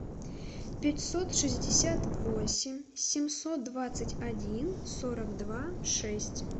пятьсот шестьдесят восемь семьсот двадцать один сорок два шесть